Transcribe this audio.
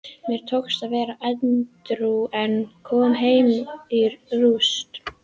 Mér tókst að vera edrú en kom heim í rúst.